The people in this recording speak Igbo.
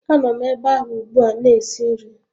Anom ebe ahụ ugbua na-esi nri